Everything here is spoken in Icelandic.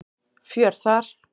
Fjör þar.